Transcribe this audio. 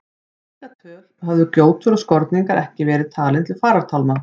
Hingað til höfðu gjótur og skorningar ekki verið talin til farartálma.